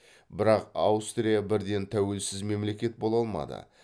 бірақ аустрия бірден тәуелсіз мемлекет бола алмады